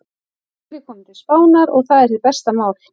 Nú er ég kominn til Spánar. og það er hið besta mál.